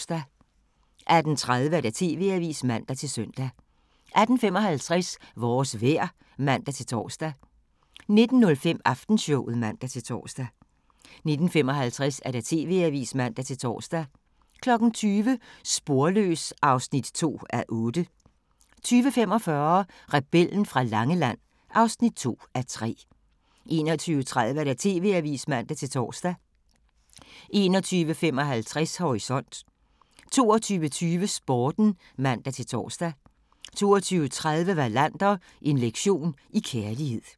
18:30: TV-avisen (man-søn) 18:55: Vores vejr (man-tor) 19:05: Aftenshowet (man-tor) 19:55: TV-avisen (man-tor) 20:00: Sporløs (2:8) 20:45: Rebellen fra Langeland (2:3) 21:30: TV-avisen (man-tor) 21:55: Horisont 22:20: Sporten (man-tor) 22:30: Wallander: En lektion i kærlighed